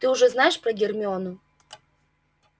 ты уже знаешь про гермиону